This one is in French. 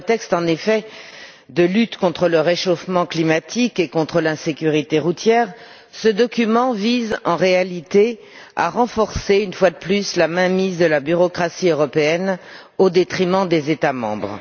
Sous prétexte de la lutte contre le réchauffement climatique et contre l'insécurité routière, ce document vise en réalité à renforcer, une fois de plus, la mainmise de la bureaucratie européenne au détriment des États membres.